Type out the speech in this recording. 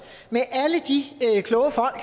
med alle de kloge folk